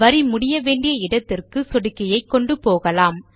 வரி முடிய வேண்டிய இடத்துக்கு சொடுக்கியை கொண்டு போகலாம்